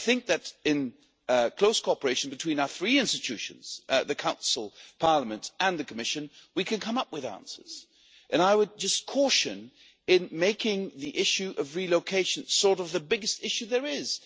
I think that in close cooperation between our three institutions the Council, the Parliament and the Commission we can come up with answers and I would just caution against making the issue of relocation the biggest issue there is.